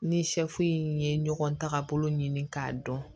Ni in ye ɲɔgɔn tagabolo ɲini k'a dɔn